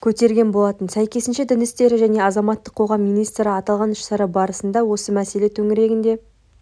көтерген болатын сәйкесінше дін істері және азаматтық қоғам министрі аталған іс-шара барысында осы мәселе төңірегінде